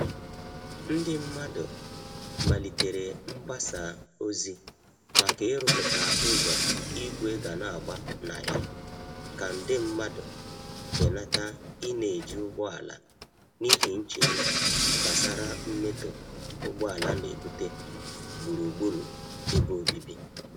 Ndị mmadụ malitere mgbasa ozi maka iruputa ụzọ igwe ga n'agba na ya ka nde mmandu benata i n'eji ụgbọala n'ihi nchegbu gbasara mmetọ ugboala nebute gburugburu ebe obibi.